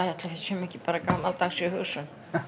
séum ekki bara gamaldags í hugsun